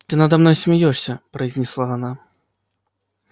ты надо мной смеёшься произнесла она